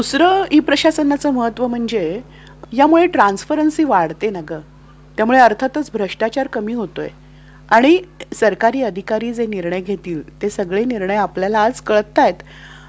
दुसरं ई प्रशासनाच महत्व म्हणजे यामध्ये ट्रंस्परन्सी वाढते ना ग. त्यामुळे अर्थातच भ्रष्टाचार कमी होतोय. आणि सरकारी अधिकारी जे निर्णय घेतील, ते सगळे निर्णय आपल्याला आज कळतायत.